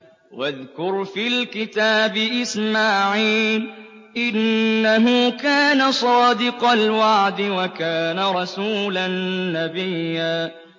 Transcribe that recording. وَاذْكُرْ فِي الْكِتَابِ إِسْمَاعِيلَ ۚ إِنَّهُ كَانَ صَادِقَ الْوَعْدِ وَكَانَ رَسُولًا نَّبِيًّا